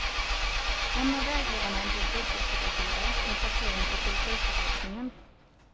En av vägledarna blev budgetrådgivare med placering på kulturförvaltningen.